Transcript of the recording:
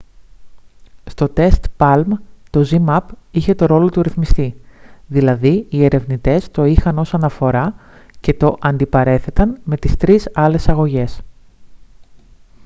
στο τεστ παλμ το zmapp είχε το ρόλο του ρυθμιστή δηλαδή οι ερευνητές το είχαν ως αναφορά και το αντιπαρέθεταν με τις 3 άλλες αγωγές